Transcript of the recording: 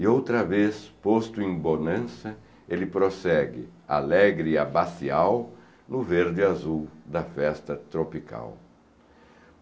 E outra vez, posto em bonança, ele prossegue, alegre e abacial, no verde e azul da festa tropical.